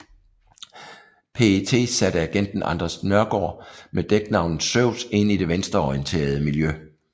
PET satte agenten Anders Nørgaard med dæknavnet Zeus ind i det venstreorienteret miljø